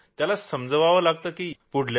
त्याला समजवावं लागतं की यात काहीच नाही